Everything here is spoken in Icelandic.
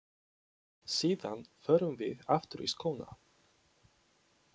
Síðan förum við aftur í skóna.